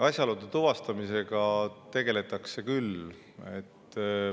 Asjaolude tuvastamisega tegeletakse küll.